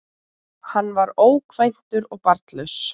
Hann var ókvæntur og barnlaus